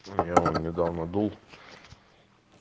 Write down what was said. ну я вон недавно дул